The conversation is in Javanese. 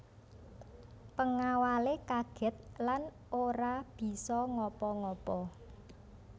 Pengawale kaget lan ora bisa ngapa ngapa